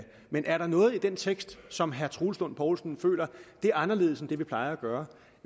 men er der noget i den tekst som herre troels lund poulsen føler er anderledes end det vi plejer at gøre